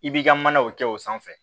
I b'i ka manaw kɛ o sanfɛ